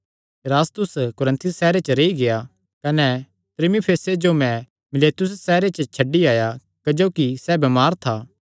इरास्तुस कुरिन्थुस सैहरे च रेई गेआ कने त्रुफिमुसे जो मैं मीलेतुस सैहरे च छड्डी आया ऐ क्जोकि सैह़ बमार था